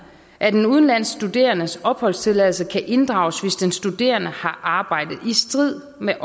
at en udenlandsk studerendes opholdstilladelse kan inddrages hvis den studerende har arbejdet i strid med